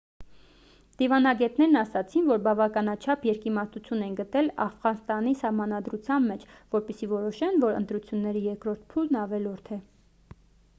դիվանագետներն ասացին որ բավականաչափ երկիմաստություն են գտել աֆղանստանի սահմանադրության մեջ որպեսզի որոշեն որ ընտրությունների երկրորդ փուլն ավելորդ է